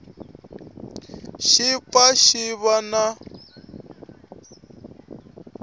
xi pfa xi va na